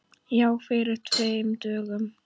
Já, fyrir tveim dögum.